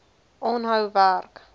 aanhou werk